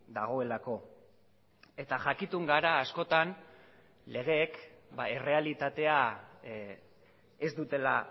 dagoelako eta jakitun gara askotan legeek errealitatea ez dutela